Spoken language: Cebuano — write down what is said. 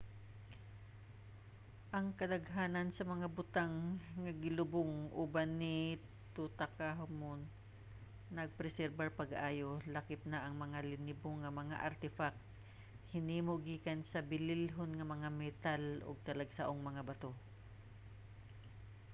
ang kadaghanan sa mga butang nga gilubong uban ni tutankhamun napreserbar pag-ayo lakip na ang mga linibo nga mga artefact hinimo gikan sa bililhon nga mga metal ug talagsaong mga bato